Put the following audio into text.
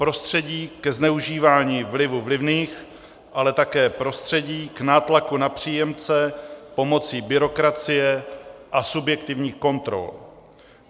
Prostředí ke zneužívání vlivu vlivných, ale také prostředí k nátlaku na příjemce pomocí byrokracie a subjektivních kontrol.